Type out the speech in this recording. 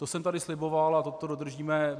To jsem tady sliboval a to dodržíme.